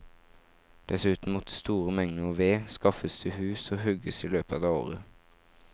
Dessuten måtte store mengder ved skaffes til hus og hugges i løpet av året.